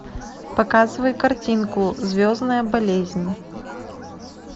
показывай картинку звездная болезнь